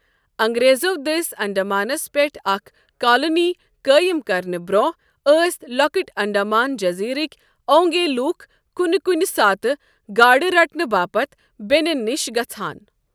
انگریزَو دٔسۍ انڈمانَس پٮ۪ٹھ اکھ کالونی قٲیِم کرنہٕ برٛونٛہہ ٲس لۄکٕٹۍ انڈمان جٔزیرٕک اونگے لوٗکھ کُنہِ کُنہِ ساتہٕ گاڈٕ رٹنہٕ باپتھ بیٚنٮ۪ن نِش گژھَان۔